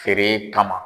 Feere kama